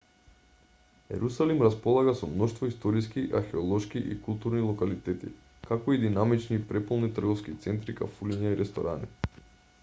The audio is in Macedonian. ерусалим располага со мноштво историски археолошки и културни локалитети како и динамични и преполни трговски центри кафулиња и ресторани